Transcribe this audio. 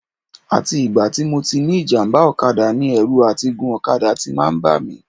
Àti ìgbà tí mo ti ní ìjàmbá ọ̀kadà ni ẹ̀rù àti gun ọ̀kadà ti máa ń bà mí